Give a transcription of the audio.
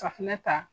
Safinɛ ta